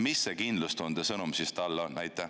Mis see kindlustunde sõnum talle on?